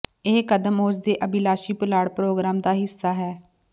ਇਹ ਕਦਮ ਉਸ ਦੇ ਅਭਿਲਾਸ਼ੀ ਪੁਲਾੜ ਪ੍ਰੋਗਰਾਮ ਦਾ ਹਿੱਸਾ ਹੈ